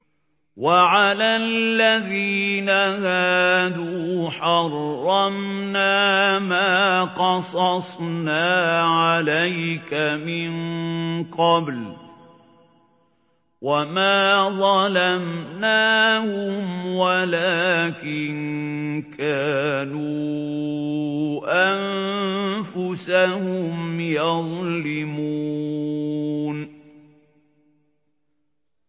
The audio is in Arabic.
وَعَلَى الَّذِينَ هَادُوا حَرَّمْنَا مَا قَصَصْنَا عَلَيْكَ مِن قَبْلُ ۖ وَمَا ظَلَمْنَاهُمْ وَلَٰكِن كَانُوا أَنفُسَهُمْ يَظْلِمُونَ